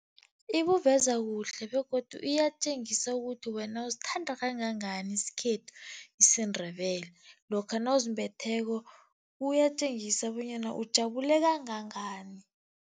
Ibuveza kuhle begodu iyatjengisa ukuthi wena usithanda kangangani isikhethu, isiNdebele. Lokha nawuzimbetheko kuyatjengisa bonyana ujabule kangangani.